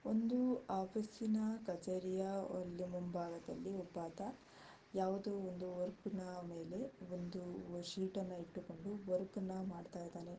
ಒಂದು ಆಫೀಸಿನ ಕಚೇರಿಯ ಅಲ್ಲಿ ಮುಂಭಾಗದಲ್ಲಿ ಒಬ್ಬ ಆತ ಯಾವುದೋ ಒಂದು ವರ್ಕ್ ನ ಮೇಲೆ ಒಂದು ಸೀಟ್ ಅನ್ನಇಟ್ಟುಕೊಂಡು ವರ್ಕ್ಅನ್ನ ಮಾಡ್ತಾ ಇದ್ದಾನೆ.